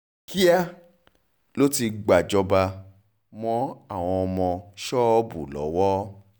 kíá ló ti gbàjọba mọ́ àwọn ọmọ ṣọ́ọ̀bù lọ́wọ́